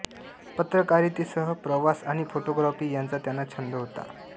पत्रकारितेसह प्रवास आणि फोटोग्राफी यांचा त्यांना छंद होता